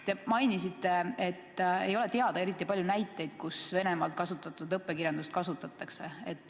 Te mainisite, et ei ole teada eriti palju näiteid, kus Venemaalt kasutatud õppekirjandust kasutatakse.